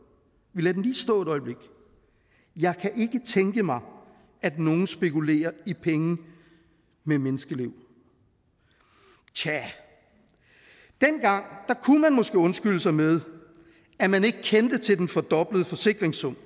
vi lader den lige stå et øjeblik jeg kan ikke tænke mig at nogen spekulerer i penge med menneskeliv tja dengang kunne man måske undskylde sig med at man ikke kendte til den fordoblede forsikringssum